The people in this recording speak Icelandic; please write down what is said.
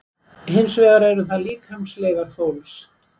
Hins vegar eru það líkamsleifar fólks.